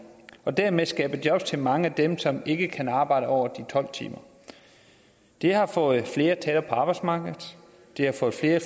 og dermed skabe jobs til mange af dem som ikke kan arbejde over de tolv timer det har fået flere tættere på arbejdsmarkedet det har fået flere